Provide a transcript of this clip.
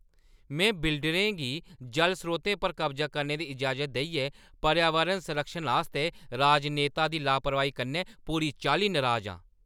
में बिल्डरें गी जल स्रोतें पर कब्जा करने दी इजाज़त देइयै पर्यावरण संरक्षण आस्तै राजनेता दी लापरवाही कन्नै पूरी चाल्ली नराज आं।